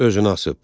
Özünü asıb.